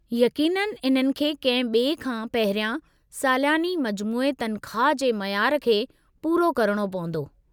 यक़ीननि, इन्हनि खे कंहिं ॿिए खां पहिरियां सालियानी मजमूई तनख़्वाह जे मयार खे पूरो करणो पंवदो।